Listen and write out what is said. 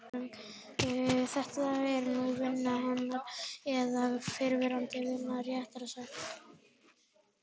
Þetta eru númer vina hennar, eða fyrrverandi vina, réttara sagt.